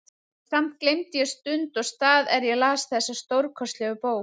Samt gleymdi ég stund og stað er ég las þessa stórkostlegu bók.